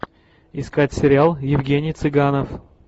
искать сериал евгений цыганов